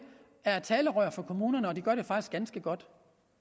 er et talerør for kommunerne og de gør det faktisk ganske godt